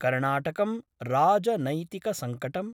कर्णाटकम् राजनैतिकसंकटम्